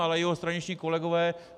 Ale jeho straničtí kolegové...